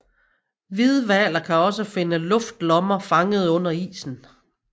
Hvidhvaler kan også finde luftlommer fanget under isen